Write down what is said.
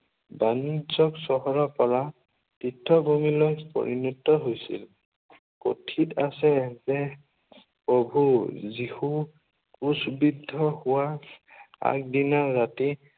বাণিজ্য় চহৰৰ পৰা তীৰ্থভূমিলৈ পৰিণত হৈছিল। কথিত আছে যে প্ৰভূ যীশুৰ ক্ৰূছবিদ্ধ হোৱা আগদিনা ৰাতি